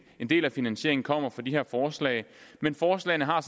en del af finansieringen kommer fra de her forslag men forslagene har